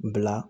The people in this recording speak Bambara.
Bila